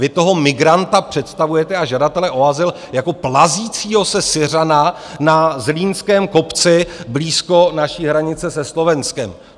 Vy toho migranta představujete, a žadatele o azyl, jako plazícího se Syřana na zlínském kopci blízko naší hranice se Slovenskem.